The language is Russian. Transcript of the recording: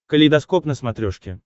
калейдоскоп на смотрешке